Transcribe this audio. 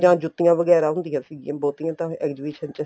ਜਾਂ ਜੁੱਤੀਆਂ ਵਗੈਰਾ ਹੁੰਦੀਆਂ ਸੀਗੀਆਂ ਬਹੁਤੀਆਂ ਤਾਂ exhibition ਚ